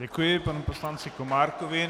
Děkuji panu poslanci Komárkovi.